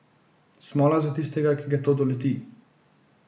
Smola za tistega, ki ga to doleti.